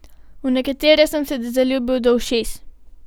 V nekatere sem se zaljubil do ušes.